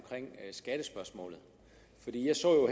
skattespørgsmålet jeg så